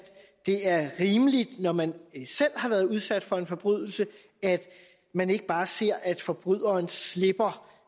det er rimeligt når man selv har været udsat for en forbrydelse at man ikke bare ser at forbryderen slipper